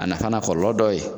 A nafa n'a kɔlɔlɔ dɔ ye,